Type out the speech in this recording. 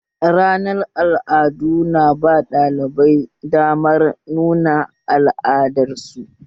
Ranar al'adu na ba ɗalibai damar nuna al'adar su